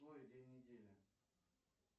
день недели